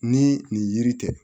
Ni nin yiri tɛ